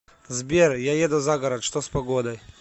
сбер я еду за город что с погодой